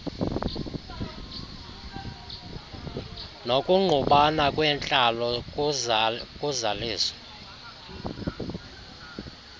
nokungqubana kwentlalo kuzaliso